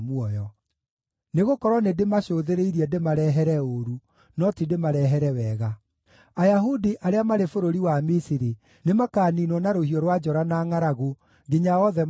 Nĩgũkorwo nĩndĩmacũthĩrĩirie ndĩmarehere ũũru, no ti ndĩmarehere wega; Ayahudi arĩa marĩ bũrũri wa Misiri nĩmakaniinwo na rũhiũ rwa njora na ngʼaragu, nginya othe mathire biũ.